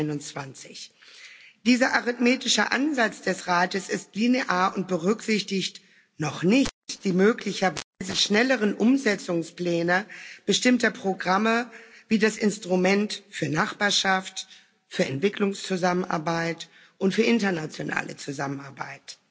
2021. Dieser arithmetische Ansatz des Rats ist linear und berücksichtigt noch nicht die möglicherweise schnelleren Umsetzungspläne bestimmter Programme wie das Instrument für Nachbarschaft, für Entwicklungszusammenarbeit und für internationale Zusammenarbeit.